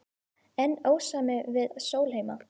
Enn ósamið við Sólheima